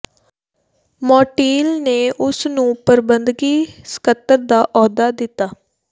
ਮੌਂਟੀਲ ਨੇ ਉਸ ਨੂੰ ਪ੍ਰਬੰਧਕੀ ਸਕੱਤਰ ਦਾ ਅਹੁਦਾ ਦਿੱਤਾ